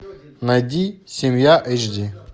найди семья эйч ди